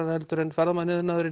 en ferðamannaiðnaður